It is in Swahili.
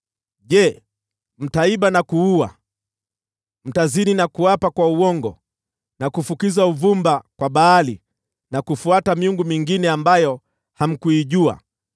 “ ‘Je, mtaiba na kuua, mtazini na kuapa kwa uongo, na kufukiza uvumba kwa Baali, na kufuata miungu mingine ambayo hamkuijua,